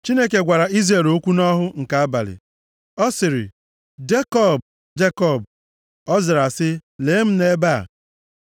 Chineke gwara Izrel okwu nʼọhụ nke abalị. Ọ sịrị, “Jekọb! Jekọb!” Ọ zara sị, “Lee m nʼebe a.”